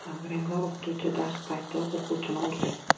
Angrenda o‘qituvchi dars payti o‘quvchini urdi .